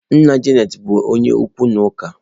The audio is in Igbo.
Nna Janet bụ onye okwu na ụka.